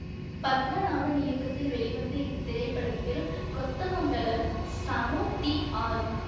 பத்மநாபன் இயக்கத்தில் வெளிவந்த இத்திரைப்படத்தில் கொத்தமங்கலம் சனு டி ஆர்